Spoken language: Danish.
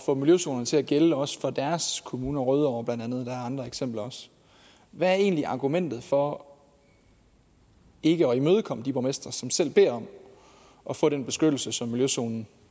få miljøzonerne til at gælde også for deres kommune rødovre blandt andet der andre eksempler hvad er egentlig argumentet for ikke at imødekomme de borgmestre som selv beder om at få den beskyttelse som miljøzonen